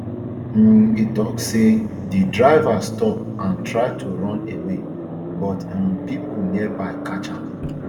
um e tok say di driver stop and try to run away but um pipo nearby catch am